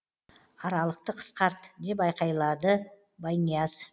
аралықты қысқарт деп айқайлады байнияз